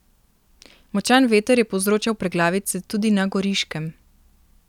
Močan veter je povzročal preglavice tudi na Goriškem.